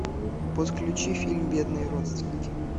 подключи фильм бедные родственники